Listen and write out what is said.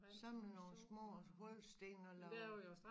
Samle nogle små hulsten og lave